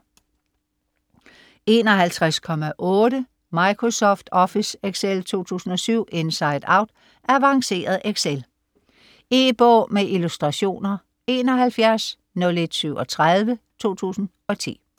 51.8 Microsoft Office Excel 2007 inside out Avanceret excel. E-bog med illustrationer 710137 2010.